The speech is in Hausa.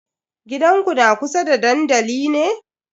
Gidanku na kusa da dandali ne?